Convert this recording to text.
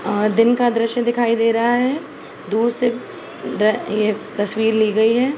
आ दिन का दृश्य दिखाई दे रहा है दूर से अ ये तस्वीर ली गई है।